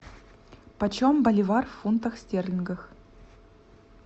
почем боливар в фунтах стерлингов